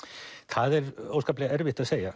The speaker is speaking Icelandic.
það er óskaplega erfitt að segja